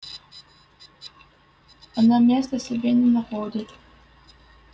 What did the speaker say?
она места себе не находит